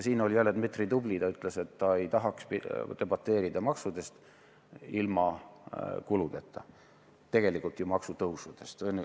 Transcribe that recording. Dmitri oli jälle tubli – ta ütles, et ta ei tahaks debateerida maksude või tegelikult maksutõusude üle ilma kulusid puudutamata.